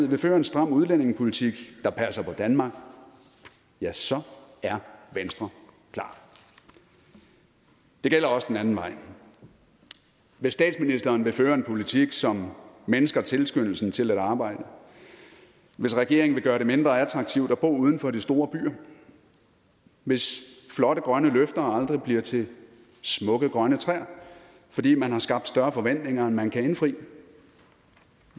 vil føre en stram udlændingepolitik der passer på danmark ja så er venstre klar det gælder også den anden vej hvis statsministeren vil føre en politik som mindsker tilskyndelsen til at arbejde hvis regeringen vil gøre det mindre attraktivt at bo uden for de store byer hvis flotte grønne løfter aldrig bliver til smukke grønne træer fordi man har skabt større forventninger end man kan indfri